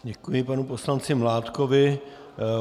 Děkuji panu poslanci Mládkovi.